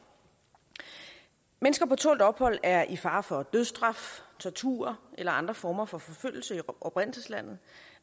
mennesker på tålt ophold er i fare for dødsstraf tortur eller andre former for forfølgelse i oprindelseslandet